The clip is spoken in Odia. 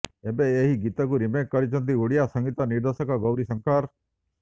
ଏବେ ଏହି ଗୀତକୁ ରିମେକ୍ କରିଛନ୍ତି ଓଡ଼ିଆ ସଂଗୀତ ନିର୍ଦ୍ଦେଶକ ଗୌରୀଶଙ୍କର